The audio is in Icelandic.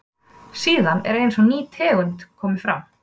síðan er eins og ný tegund komi fram